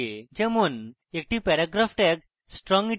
একটি paragraph tag strong italic